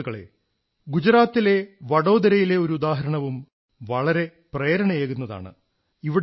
സുഹൃത്തുക്കളേ ഗുജറാത്തിലെ വഡോദരയിലെ ഒരു ഉദാഹരണവും വളരെ പ്രേരണയേകുന്നതാണ്